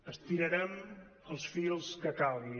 estirarem els fils que calgui